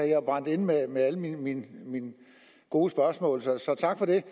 jeg brændt inde med med alle mine gode spørgsmål så så tak for det